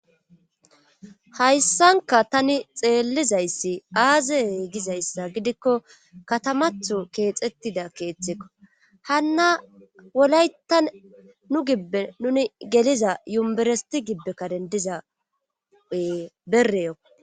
Hayssanka tani xeellizayssi aazee gizayssa gidikko katamatho keexettida keeththekko hanna wolayta nu gibbe nuni geliza yumberesti gibbekka dendizaee bereyo